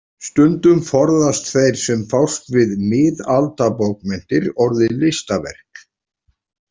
Stundum forðast þeir sem fást við miðaldabókmenntir orðið „listaverk“.